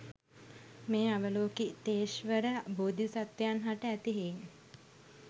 මෙම අවලෝකිතේශ්වර බෝධි සත්වයන් හට ඇති හෙයින්